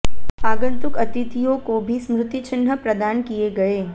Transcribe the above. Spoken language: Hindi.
आगंतुक अतिथियों को भी स्मृति चिन्ह प्रदान किए गए